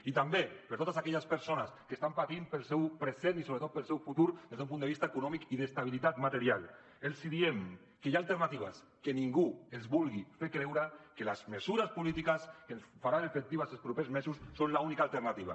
i també per a totes aquelles persones que estan patint pel seu present i sobretot pel seu futur des d’un punt de vista econòmic i d’estabilitat material els diem que hi ha alternatives que ningú els vulgui fer creure que les mesures polítiques que es faran efectives en els propers mesos són l’única alternativa